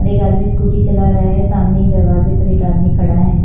और एक आदमी स्कूटी चला रहा है सामने ही दरवाजे पर एक आदमी खड़ा है।